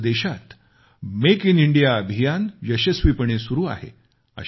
आज देशात make in India अभियान यशस्वीपणे सुरु आहे